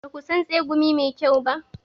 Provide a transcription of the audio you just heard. Ba ku son tsegumi mai kyau?